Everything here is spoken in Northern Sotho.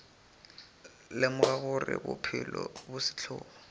lemoga gore bophelo bo sehlogo